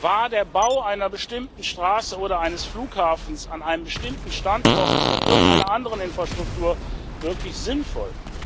War der Bau einer bestimmten Straße oder eines Flughafens an einem bestimmten Standort oder irgendeiner anderen Infrastruktur wirklich sinnvoll?